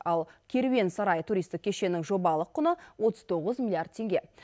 ал керуен сарай туристік кешеннің жобалық құны отыз тоғыз миллиард теңге